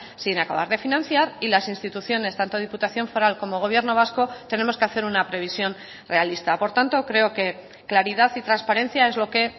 sin acabar de financiar y las instituciones tanto diputación foral como gobierno vasco tenemos que hacer una previsión realista por tanto creo que claridad y transparencia es lo que